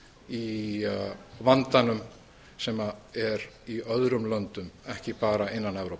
í vandanum sem er í öðrum löndum ekki bara innan evrópu